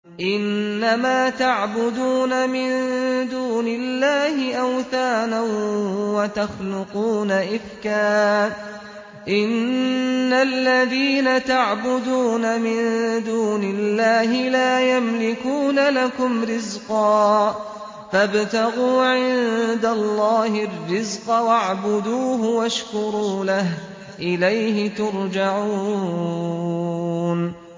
إِنَّمَا تَعْبُدُونَ مِن دُونِ اللَّهِ أَوْثَانًا وَتَخْلُقُونَ إِفْكًا ۚ إِنَّ الَّذِينَ تَعْبُدُونَ مِن دُونِ اللَّهِ لَا يَمْلِكُونَ لَكُمْ رِزْقًا فَابْتَغُوا عِندَ اللَّهِ الرِّزْقَ وَاعْبُدُوهُ وَاشْكُرُوا لَهُ ۖ إِلَيْهِ تُرْجَعُونَ